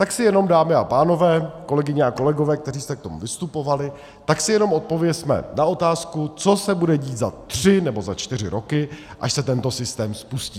Tak si jenom, dámy a pánové, kolegyně a kolegové, kteří jste k tomu vystupovali, tak si jenom odpovězme na otázku, co se bude dít za tři nebo za čtyři roky, až se tento systém spustí.